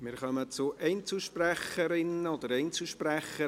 Wir kommen zu den Einzelsprecherinnen und Einzelsprechern;